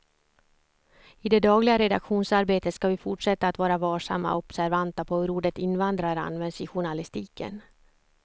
I det dagliga redaktionsarbetet ska vi fortsätta att vara varsamma och observanta på hur ordet invandrare används i journalistiken.